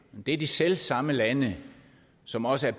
er de selv samme lande som også er